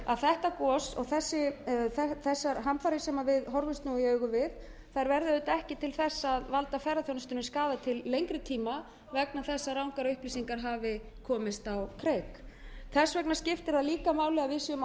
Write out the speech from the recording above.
að þetta gos og þessar hamfarir sem við horfumst nú í augu við verði auðvitað ekki til þess að valda ferðaþjónustan skaða til lengri tíma vegna þess að rangar upplýsingar hafi komist á kreik þess vegna skiptir það líka máli að við séum að